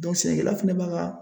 sɛnɛkɛla fɛnɛ b'a ka.